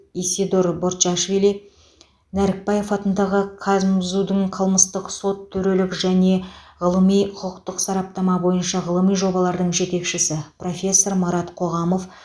исидор борчашвили нәрікбаев атындағы казмзу дың қылмыстық сот төрелігі және ғылыми құқықтық сараптама бойынша ғылыми жобалардың жетекшісі профессор марат қоғамов